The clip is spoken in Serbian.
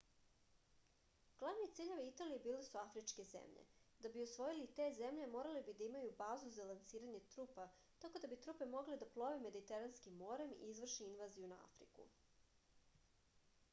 glavni ciljevi italije bile su afričke zemlje da bi osvojili te zemlje morali bi da imaju bazu za lansiranje trupa tako da bi trupe mogle da plove mediteranskim morem i izvrše invaziju na afriku